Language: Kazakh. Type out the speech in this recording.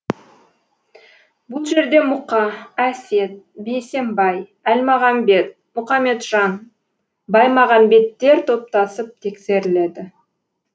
бұл жерде мұқа әсет бейсембай әлмағамбет мұқаметжан баймағамбеттер топтасып тексеріледі